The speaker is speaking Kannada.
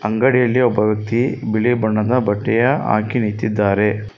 ಅಂಗಡಿಯಲ್ಲಿ ಒಬ್ಬ ವ್ಯಕ್ತಿ ಬಿಳಿ ಬಣ್ಣದ ಬಟ್ಟೆಯ ಹಾಕಿ ನಿಂತಿದ್ದಾರೆ.